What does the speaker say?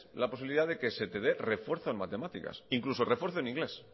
la posibilidad de que se te dé refuerzo en matemáticas incluso refuerzo en inglés